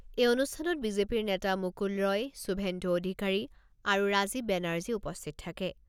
এই অনুষ্ঠানত বিজেপিৰ নেতা মুকুল ৰয়, শুভেন্দু অধিকাৰী আৰু ৰাজীৱ বেনাৰ্জী উপস্থিত থাকে।